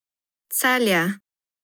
Celje.